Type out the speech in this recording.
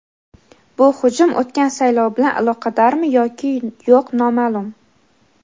Bu hujum o‘tgan saylov bilan aloqadormi yoki yo‘q noma’lum.